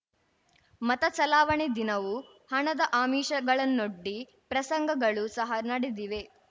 ಮತ ಚಲಾವಣೆ ದಿನವೂ ಹಣದ ಆಮಿಷಗಳನ್ನೊಡ್ಡಿ ಪ್ರಸಂಗಗಳೂ ಸಹ ನಡೆದಿವೆ